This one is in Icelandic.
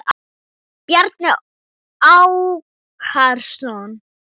Bjarni Ákason.